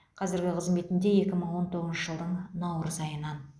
қазіргі қызметінде екі мың он тоғызыншы жылдың наурыз айынан